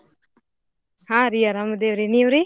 ಹಾರೀ ಆರಾಮ್ ಅದೇವ್ರೀ ನೀವ್ರೀ?